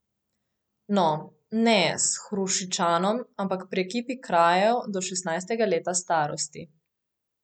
No, ne s Hrušičanom, ampak pri ekipi kraljev do šestnajstega leta starosti.